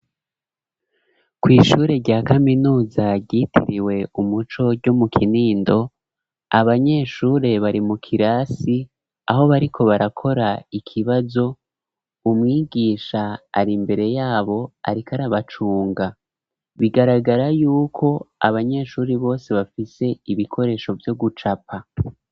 Kw''ishure rya kaminuza ryitiriwe umuco ryo mu kinindo abanyeshure bari mu kirasi aho bariko barakora ikibazo, umwigisha ari mbere yabo ariko arabacunga bigaragara yuko abanyeshure bose bafise ibikoresho vyo gucapa.